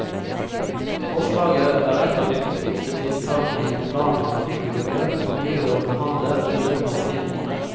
Forslaget er et av de viktigste tiltakene i en plan mot trafikkulykker, som byrådet behandler i løpet av en måned.